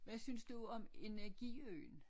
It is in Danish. Hvad synes du om Energiøen